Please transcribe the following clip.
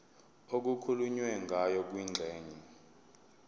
okukhulunywe ngayo kwingxenye